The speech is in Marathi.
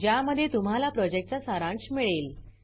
ज्यामध्ये तुम्हाला प्रॉजेक्टचा सारांश मिळेल